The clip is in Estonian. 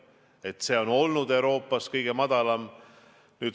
See on olnud Euroopas kõige madalam.